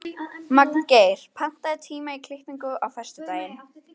Magngeir, pantaðu tíma í klippingu á föstudaginn.